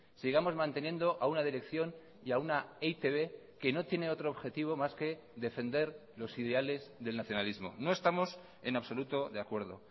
sigamos manteniendo a una dirección y a una e i te be que no tiene otro objetivo más que defender los ideales del nacionalismo no estamos en absoluto de acuerdo